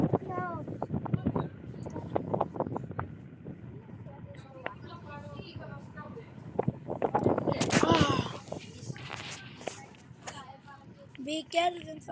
Við gerðum það ekki.